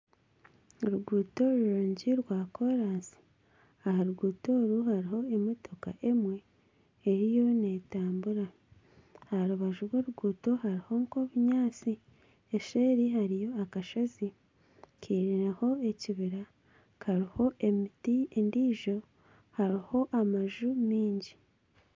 Oruguuto rurungi rwa koransi aha ruguuto oru hariho motoka emwe eriyo neetambura. Aha rubaju rw'oruguuto hariho nk'obunyaatsi. Eseeri hariyo akashozi kairiire ekibira kariho emiti endiijo hariho amaju maingi.